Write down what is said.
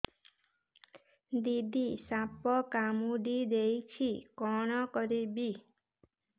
ଦିଦି ସାପ କାମୁଡି ଦେଇଛି କଣ କରିବି